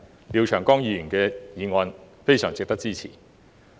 因此，廖長江議員的議案非常值得支持。